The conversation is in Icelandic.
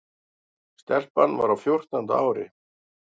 Stelpan var á fjórtánda ári.